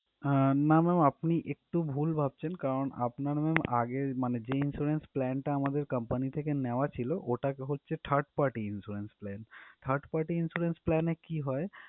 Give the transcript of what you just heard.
আহ না ma'am আপনি একটু ভুল ভাবছেন কারণ আপনার ma'am আগের মানে যে insurance plan টা আমাদের company থেকে নেওয়া ছিল ওটা হচ্ছে third party insurance plan । third party insurance plan এ কি হয়